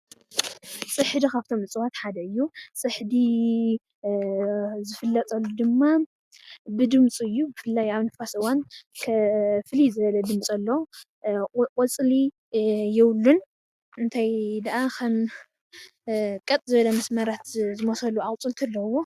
ፅሕዲ ካብቶም እፅዋት ሓደ እዩ፡፡ ፅሕዲ ዝፍለጠሉ ድማ ብድምፁ እዩ፡፡ ብፍላይ ኣብ ንፋስ እዋን ፍልይ ዝበለ ድምፂ ኣለዎ፡፡ ቆፅሊ የብሉን እንታይ ደኣ ኸም ቀጥ ዝበለ መስመራት ዝመስሉ ኣቁፅልቲ ኣለዉዎ፡፡